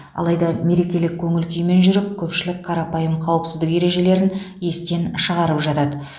алайда мерекелік көңіл күймен жүріп көпшілік қарапайым қауіпсіздік ережелерін естен шығарып жатады